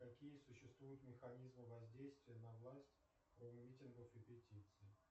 какие существуют механизмы воздействия на власть кроме митингов и петиций